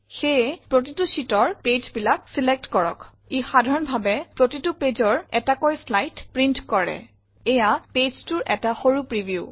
সেয়ে প্ৰতিতোৰ ছিতৰ পেজ বিলাক চিলেক্ট কৰক ই সাধাৰন ভাবে প্ৰতিতোৰ পেজৰ এতাকৌ চলাইদ প্ৰিন্ত কৰে এইয়া pageটোৰ এটা সৰু প্ৰিভিউ